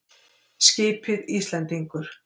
Skipið Íslendingur.